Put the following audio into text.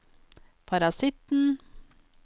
parasitten